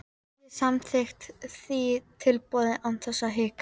Ég samþykkti því tilboðið án þess að hika.